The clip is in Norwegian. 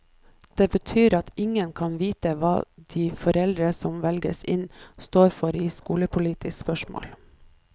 Det betyr at ingen kan vite hva de foreldre som velges inn, står for i skolepolitiske spørsmål.